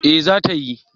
Eh, za ta yi